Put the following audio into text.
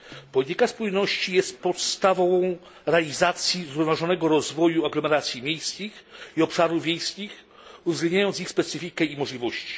Polityka spójności jest podstawą realizacji zrównoważonego rozwoju aglomeracji miejskich i obszarów wiejskich, uwzględniając ich specyfikę i możliwości.